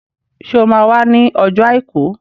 Ṣé o máa wá ní ọjọ́ Àìkú?